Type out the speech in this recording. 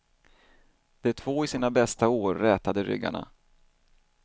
De två i sina bästa år rätade ryggarna.